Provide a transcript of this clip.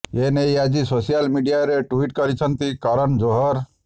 ଏନେଇ ଆଜି ସୋସିଆଲ୍ ମିଡିଆରେ ଟ୍ୱିଟ୍ କରିଛନ୍ତି କରନ୍ ଜୋହର